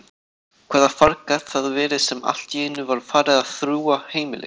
Hvaða farg gat það verið sem alltíeinu var farið að þrúga heimilið?